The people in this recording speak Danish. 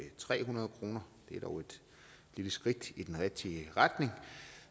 tre hundrede kroner det er dog et lille skridt i den rigtige retning